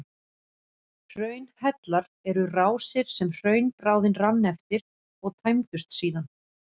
Hraunhellar eru rásir sem hraunbráðin rann eftir og tæmdust síðan.